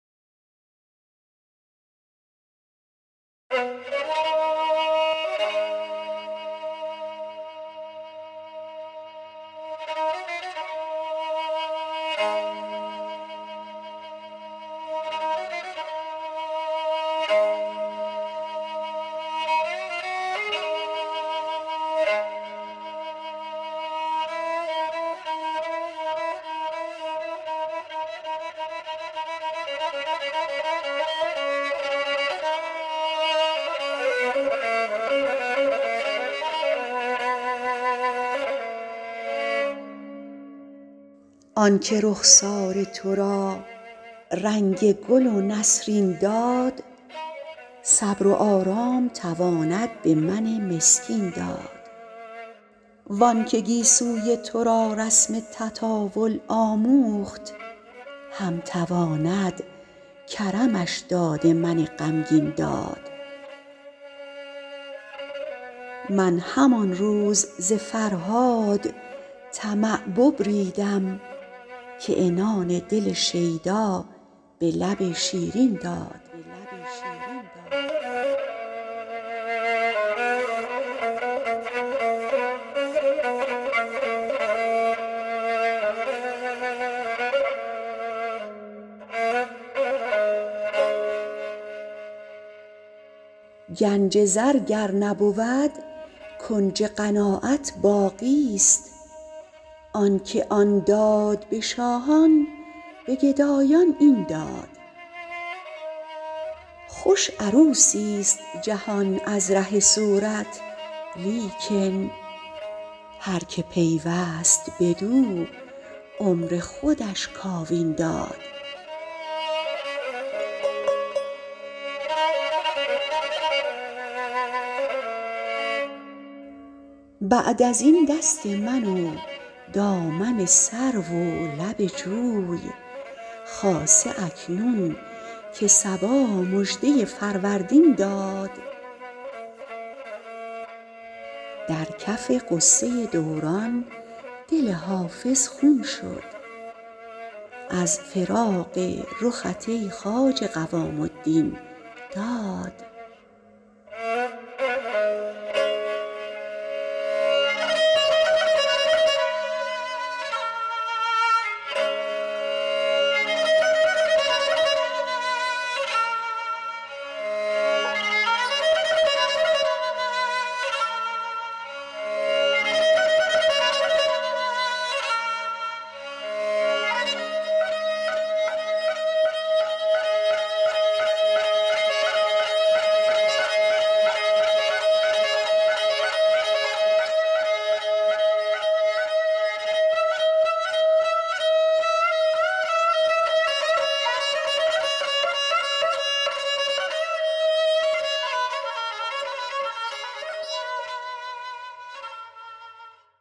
آن که رخسار تو را رنگ گل و نسرین داد صبر و آرام تواند به من مسکین داد وان که گیسوی تو را رسم تطاول آموخت هم تواند کرمش داد من غمگین داد من همان روز ز فرهاد طمع ببریدم که عنان دل شیدا به لب شیرین داد گنج زر گر نبود کنج قناعت باقیست آن که آن داد به شاهان به گدایان این داد خوش عروسیست جهان از ره صورت لیکن هر که پیوست بدو عمر خودش کاوین داد بعد از این دست من و دامن سرو و لب جوی خاصه اکنون که صبا مژده فروردین داد در کف غصه دوران دل حافظ خون شد از فراق رخت ای خواجه قوام الدین داد